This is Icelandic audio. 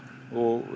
og